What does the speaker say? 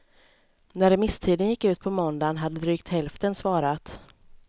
När remisstiden gick ut på måndagen hade drygt hälften svarat.